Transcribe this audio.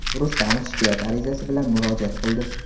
Rustamov shikoyat arizasi bilan murojaat kildi.